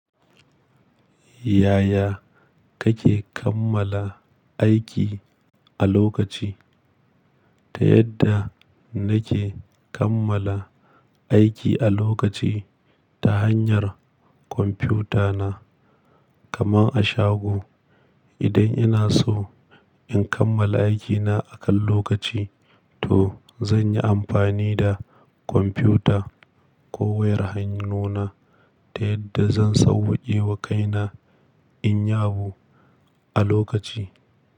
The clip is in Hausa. Yaya kake kammala aiki a lokaci? Ta yadda nake kammala aiki a lokaci ta hanyar kwamfiyuta na kamar a shago. Idan ina so in kammala aikina akan lokaci, to zan yi amfani da kwamfiyuta ko wayar hannuna ta yadda zan sauwake wa kaina in yabo a lokaci.